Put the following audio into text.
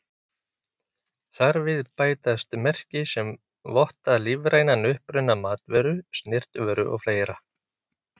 Þar við bætast merki sem votta lífrænan uppruna matvöru, snyrtivöru og fleira.